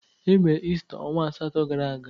Emere Ista ọnwa asatọ gara aga.